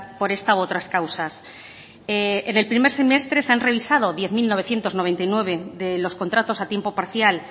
por esta u otras causas en el primer semestre se han revisado diez mil novecientos noventa y nueve de los contratos a tiempo parcial